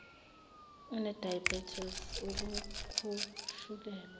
une diabetes ukukhushukelwa